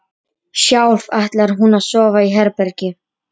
Hvaða náungi er þetta? spurði Finnur treglega.